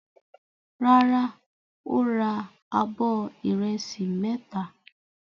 Rárá, ó ra abọ́ ìrẹsì mẹ́ta.